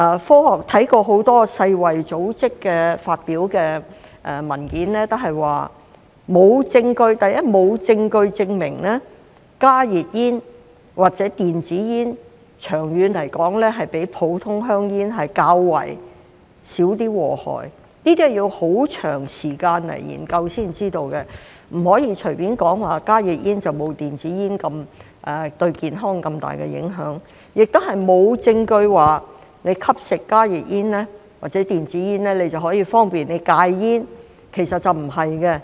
所以，世衞組織發表的很多文件均指出，沒有證據證明加熱煙或電子煙長遠來說比普通香煙較少禍害，這需要很長時間研究才知道，不可以隨便說加熱煙沒有電子煙對健康造成那麼大的影響，亦沒有證據證明吸食加熱煙或電子煙可方便戒煙。